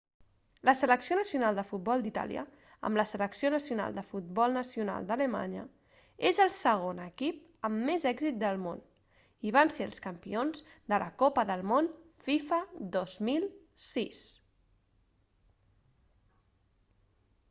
la selecció nacional de futbol d'itàlia amb la selecció nacional de futbol nacional d'alemanya és el segon equip amb més èxits del món i van ser els campions de la copa del món fifa 2006